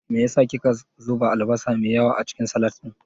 Me yasa ki ka zuba albasa me yawa acikin salak ɗin.